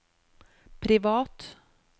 privat